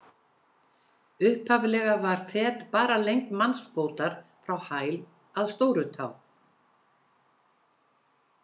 Upphaflega var fet bara lengd mannsfótar frá hæl að stóru tá.